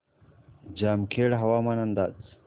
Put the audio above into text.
जामखेड हवामान अंदाज